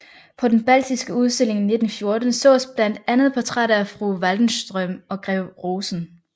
På den baltiske udstilling 1914 sås blandt andet portrætter af fru Waldenström og grev Rosen